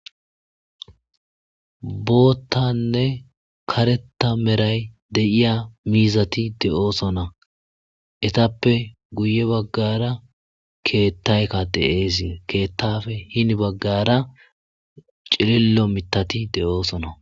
boottanne kareta meray de7iya miizati de7oosona etappe guye baggara keettaykka deesi keettafe hini baggara cilillo mitati de7oosona